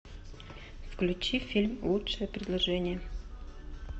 включи фильм лучшее предложение